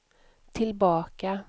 tillbaka